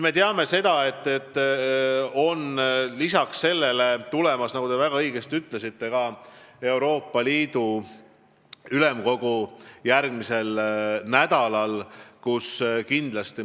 " Me teame, et lisaks sellele koguneb järgmisel nädalal Euroopa Liidu Ülemkogu, nagu te väga õigesti ka ütlesite.